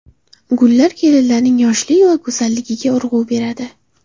Gullar kelinlarning yoshlik va go‘zalligiga urg‘u beradi.